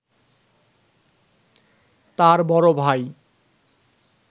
তাঁর বড় ভাই